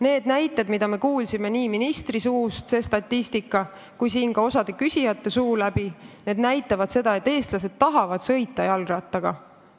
Need näited, mida me kuulsime nii ministri kui ka osa siin küsijate suu läbi, ja statistika näitavad seda, et eestlased tahavad jalgrattaga sõita.